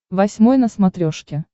восьмой на смотрешке